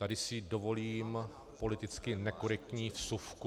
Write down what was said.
Tady si dovolím politicky nekorektní vsuvku.